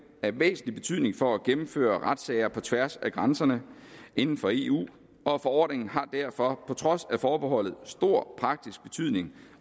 af væsentlig betydning for at gennemføre retssager på tværs af grænserne inden for eu og forordningen har derfor på trods af forbeholdet stor praktisk betydning